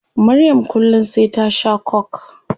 Maryam kullum sai ta shaa coke